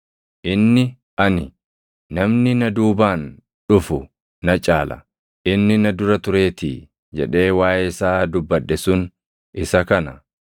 Inni ani, ‘Namni na duubaan dhufu na caala; inni na dura tureetii’ jedhee waaʼee isaa dubbadhe sun isa kana.